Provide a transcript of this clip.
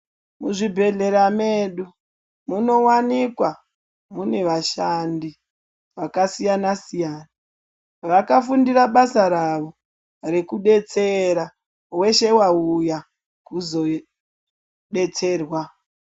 Muzvibhedhlera medu munowanikwa mune vashandi vakasiyana siyana vakafundira basa ravo rekudetsera weshe wauya kuzodetserwa.